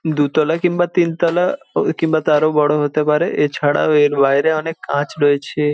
দুতলা কিংবা তিনতলা কিংবা তার ও বড় হতে পারে এছাড়াও এর বাইরে অনেক কাঁচ রয়েছে।